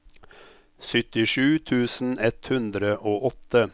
syttisju tusen ett hundre og åtte